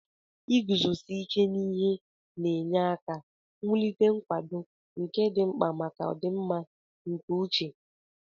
Iguzosi ike n'ihe na-enye aka wulite nkwado, nke dị mkpa maka ọdịmma nke uche.